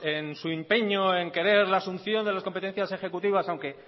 en su empeño en querer la asunción de las competencias ejecutivas aunque